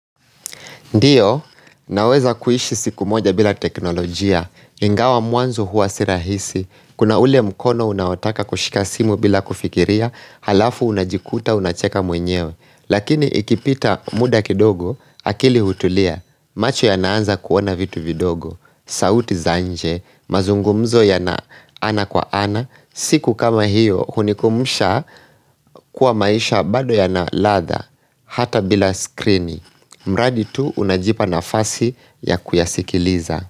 Ndiyo, naweza kuishi siku moja bila teknolojia, ingawa mwanzo huwa sirahisi, kuna ule mkono unaotaka kushika simu bila kufikiria, halafu unajikuta unacheka mwenyewe. Lakini ikipita muda kidogo, akili hutulia, macho ya naanza kuona vitu vidogo, sauti zanje, mazungumzo ya na ana kwa ana, siku kama hiyo hunikumbusha kuwa maisha bado ya na ladha, hata bila skrini. Mradi tu unajipa na fasi ya kuyasikiliza.